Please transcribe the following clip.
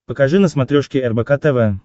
покажи на смотрешке рбк тв